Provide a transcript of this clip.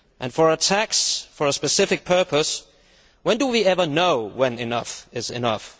For a tax for a specific purpose, when do we ever know when enough is enough?